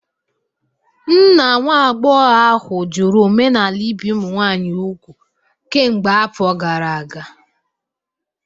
Nna nwa agbọghọ ahụ jụrụ omenala ibi ụmụ nwanyị úgwù kemgbe afọ gara aga